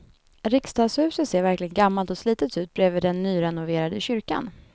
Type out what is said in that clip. Riksdagshuset ser verkligen gammalt och slitet ut bredvid den nyrenoverade kyrkan.